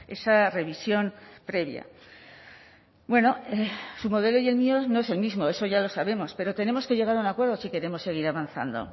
esa revisión previa bueno su modelo y el mío no es el mismo eso ya lo sabemos pero tenemos que llegar a un acuerdo si queremos seguir avanzando